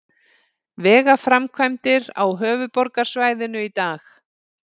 Vegaframkvæmdir á höfuðborgarsvæðinu í dag